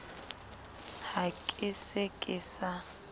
ha ke se ke sa